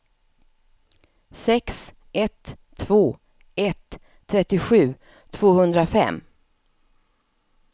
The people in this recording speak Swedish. sex ett två ett trettiosju tvåhundrafem